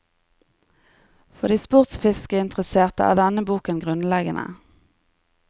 For de sportsfiskeinteresserte er denne boken grunnleggende.